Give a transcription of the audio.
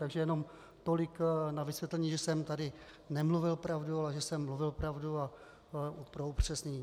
Takže jenom tolik na vysvětlení, že jsem tady nemluvil pravdu, ale že jsem mluvil pravdu, a pro upřesnění.